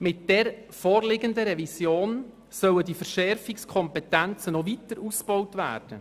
Mit der vorliegenden Revision sollen diese Verschärfungskompetenzen noch weiter ausgebaut werden.